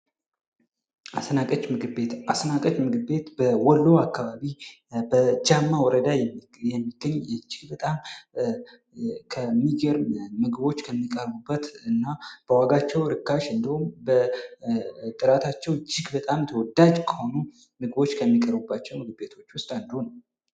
አስናቀች ምግብ ቤት ። አስናቀች ምግብ ቤት በወሎ አካባቢ በጃማ ወረዳ የምትገኝ ይቺ በጣም ከሚገርም ምግቦች ከሚቀርቡበት እና በዋጋቸው እርካሽ እንዲሁም በጥራታቸው እጅግ በጣም ተወዳጅ ከሆኑ ምግቦች ከሚቀርቡባቸው ምግብ ቤቶች ውስጥ አንዱ ነው ።